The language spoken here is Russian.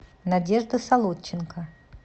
надежда солодченко